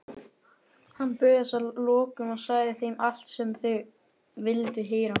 Hann bugaðist að lokum og sagði þeim allt sem þeir vildu heyra.